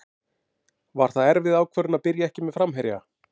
Var það erfið ákvörðun að byrja ekki með framherja?